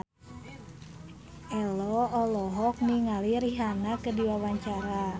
Ello olohok ningali Rihanna keur diwawancara